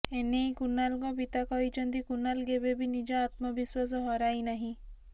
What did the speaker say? ଏ ନେଇ କୁନାଲଙ୍କ ପିତା କହିଛନ୍ତି କୁନାଲ୍ କେବେବି ନିଜ ଆତ୍ମବିଶ୍ୱାସ ହରାଇନାହିଁ